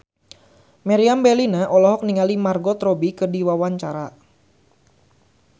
Meriam Bellina olohok ningali Margot Robbie keur diwawancara